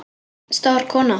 Stór kona.